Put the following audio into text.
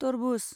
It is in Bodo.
तरबुज